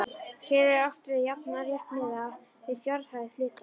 Hér er átt við jafnan rétt miðað við fjárhæð hluta.